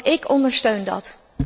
Ook ik ondersteun dat.